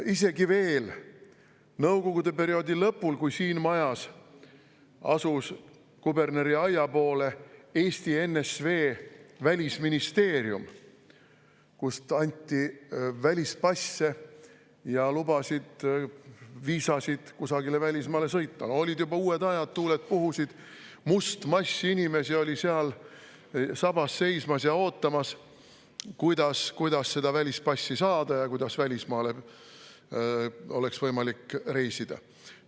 Isegi veel nõukogude perioodi lõpul, kui siin majas asus Kuberneri aia pool Eesti NSV Välisministeerium, kust anti välispasse ja lubasid, viisasid kusagile välismaale sõitmiseks ja olid juba uued ajad, tuuled puhusid ning seal oli must mass inimesi sabas seismas ja ootamas, kuidas seda välispassi saada ja kuidas oleks võimalik välismaale reisida.